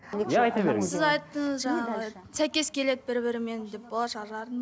иә айта беріңіз сіз айттыңыз жаңағы сәйкес келеді бір бірімен деп болашақ жарын